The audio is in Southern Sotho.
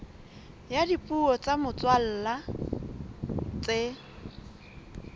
ya dipuo tsa motswalla tse